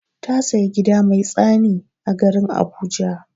Ta saya gida mai tsani a garin habuja.